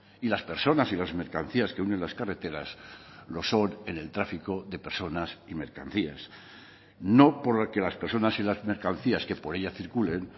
y las personas y las mercancías que unen las carreteras lo son en el tráfico de personas y mercancías no porque las personas y las mercancías que por ella circulen